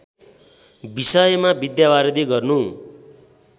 विषयमा विद्यावारिधि गर्नु